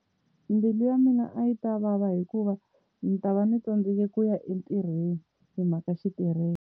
Mbilu ya mina a yi ta vava hikuva ndzi ta va ndzi tsandzeke ku ya entirhweni hi mhaka xitereko.